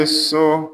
So